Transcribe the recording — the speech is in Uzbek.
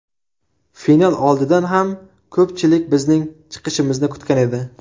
Final oldidan ham ko‘pchilik bizning chiqishimizni kutgan edi.